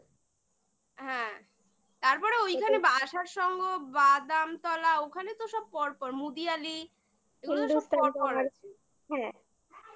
হ্যাঁ তারপরে ওইখানে আশার সঙ্ঘ বাদামতলা ওখানে তো সব পর পর মুদিয়ালি এগুলো হিন্দুস্থান সব পর পর আছে হ্যাঁ